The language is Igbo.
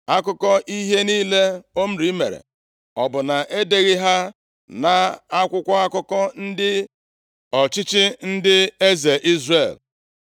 Akụkọ ihe niile Omri mere, ọ bụ na e deghị ha nʼakwụkwọ akụkọ ọchịchị ndị eze Izrel?